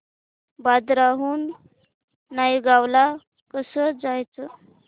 बांद्रा हून नायगाव ला कसं जायचं